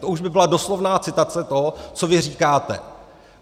To už by byla doslovná citace toho, co vy říkáte.